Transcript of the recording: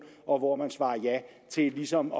og hvor man svarer ja til ligesom